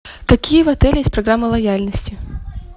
какие в отеле есть программы лояльности